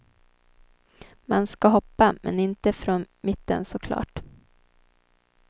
Man ska hoppa, men inte från mitten såklart.